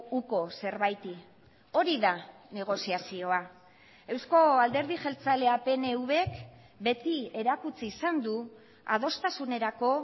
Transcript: uko zerbaiti hori da negoziazioa eusko alderdi jeltzalea pnvk beti erakutsi izan du adostasunerako